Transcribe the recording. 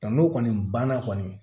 Nka n'o kɔni banna kɔni